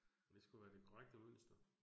Og det skulle være det korrekte mønster